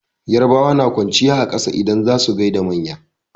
Yarabawa na kwanciya a ƙasa idan za su gaida manya.